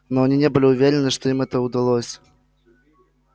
но они не были уверены что им это удалось